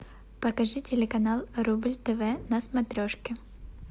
покажи телеканал рубль тв на смотрешке